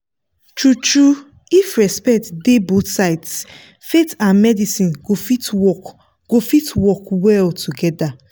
true-true if respect dey both sides faith and medicine go fit work go fit work well together.